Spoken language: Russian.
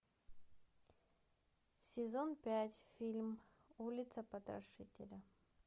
сезон пять фильм улица потрошителя